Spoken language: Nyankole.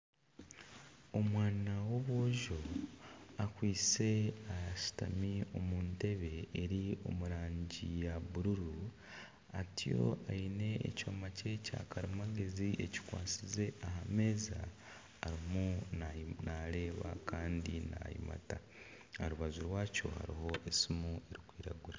Omwana w'omwojo akwitse ashutami omu ntebe eri omu rangi ya bururu atyo aine ekyoma kye kyakarimagezi ekikwatsize aha meeza arimu naareeba kandi naayimata aha rubaju rwakyo hariho esimu erikwiragura